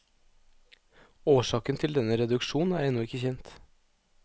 Årsaken til denne reduksjon er ennå ikke kjent.